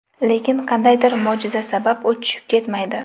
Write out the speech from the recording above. Lekin qandaydir mo‘jiza sabab u tushib ketmaydi.